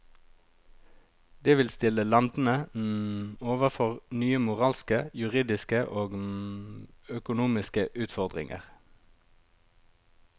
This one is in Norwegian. Det vil stille landene overfor nye moralske, juridiske og økonomiske utfordringer.